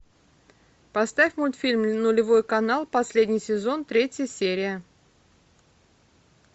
поставь мультфильм нулевой канал последний сезон третья серия